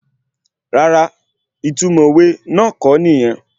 Rárá, ìtumọ̀ òwe náà kọ́ nìyẹn